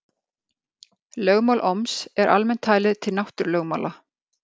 Lögmál Ohms er almennt talið til náttúrulögmála.